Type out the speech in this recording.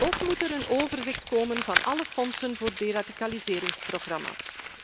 Ook moet er een overzicht komen van alle fondsen voor deradicaliseringsprogramma's.